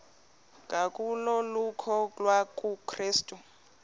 kwangokholo lokukholwa kukrestu